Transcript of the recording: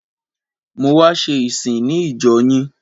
A wá ṣe ìsìn ní ìjọ yín.